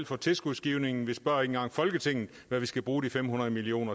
for tilskudsgivningen vi spørger ikke engang folketinget hvad vi skal bruge de fem hundrede million